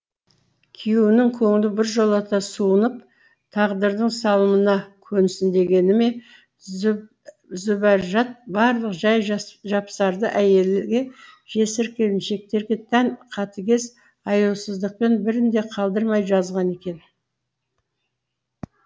күйеуінің көңілі біржола суынып тағдырдың салымына көнсін дегені ме зүбәржат барлық жай жапсарды әйелге жесір келіншектерге тән қатыгез аяусыздықпен бірін де қалдырмай жазған екен